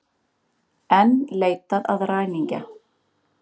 Enn leitað að ræningja